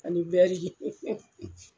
Ani